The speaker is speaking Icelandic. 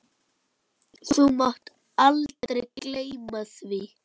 Þú mátt aldrei gleyma því.